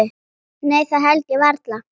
Nei það held ég varla.